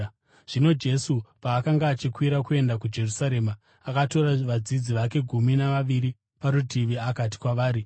Zvino Jesu paakanga achikwira kuenda kuJerusarema, akatora vadzidzi vake gumi navaviri parutivi akati kwavari,